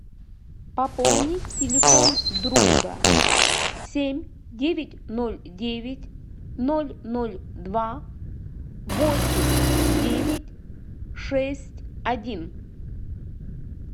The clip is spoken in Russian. пополнить телефон друга семь девять ноль девять ноль ноль два восемь девять шесть один